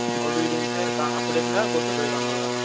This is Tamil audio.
obedient ஆ இருகான் அப்டி இருந்தா கூடிட்டு பொய்ருவாங்காலா